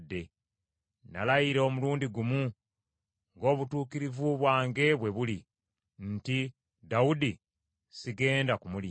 Nalayira omulundi gumu, ng’obutuukirivu bwange bwe buli, nti, “Dawudi sigenda kumulimba.”